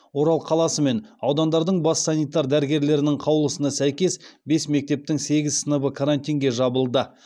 орал қаласы мен аудандардың бас санитар дәрігерлерінің қаулысына сәйкес бес мектептің сегіз сыныбы карантинге жабылды